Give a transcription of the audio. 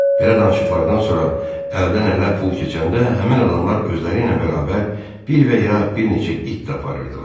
Belə danışıqlardan sonra əldən-ələ pul keçəndə həmin adamlar özləri ilə bərabər bir və ya bir neçə it də aparırdılar.